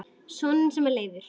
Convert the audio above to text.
Soninn sem Leifur